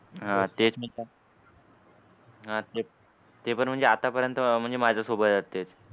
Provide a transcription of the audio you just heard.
होय ते. हाते ते पण म्हणजे आता पर्यंत म्हणजे माझ्या सोबत तेच.